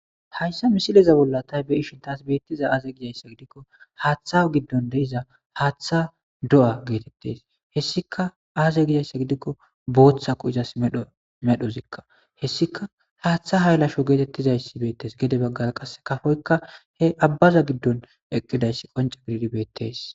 hayssa misileza bolla tay be'ishin taas beettiza aaze gizayssa gidikko haaththa giddon de'iza haaththa do'a geetettes hessika aaze gizayssa gidikko booththa ku izas dmedhozikka hessika haaththa haaylasho geetettizaysi beettes gede baggara qasse kafoykka he abbaza giddon eqqidayssi qonca gididi beettes